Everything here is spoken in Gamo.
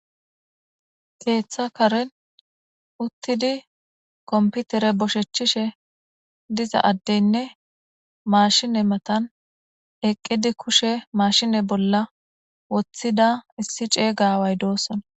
Keeththa karen uttidi komputere boshechchishe diza addeynne maashine matan eqqidi kushe maashine bolla woththida issi ceega away doosona.